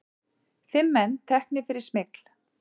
Fimm menn teknir fyrir smygl